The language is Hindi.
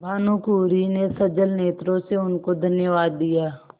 भानुकुँवरि ने सजल नेत्रों से उनको धन्यवाद दिया